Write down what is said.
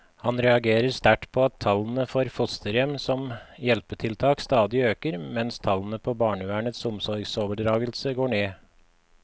Han reagerer sterkt på at tallene for fosterhjem som hjelpetiltak stadig øker, mens tallene på barnevernets omsorgsoverdragelser går ned.